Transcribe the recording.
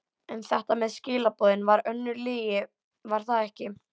En þetta með skilaboðin var önnur lygi, var það ekki?